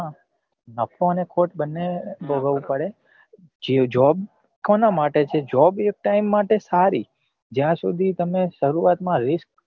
હા નફો અને ખોટ બન્ને ભોગવવું પડે job કોના માટે છે job એક time માટે સારી જ્યાં સુધી તમે સરુઆત માં વીસ